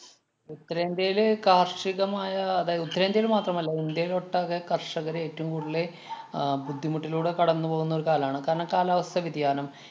ഉത്തരേന്ത്യേല് കാര്‍ഷികമായ അതായത് ഉത്തരേന്ത്യയില്‍ മാത്രമല്ല ഇന്ത്യയിലൊട്ടാകെ കര്‍ഷകര് ഏറ്റോം കൂടുതല് ആഹ് ബുദ്ധിമുട്ടിലൂടെ കടന്നു പോകുന്ന ഒരു കാലാണ്. കാരണം കാലാവസ്ഥാ വ്യതിയാനം